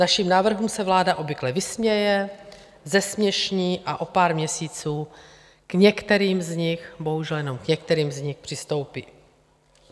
Našim návrhům se vláda obvykle vysměje, zesměšní, a o pár měsíců k některým z nich, bohužel jenom k některým z nich, přistoupí.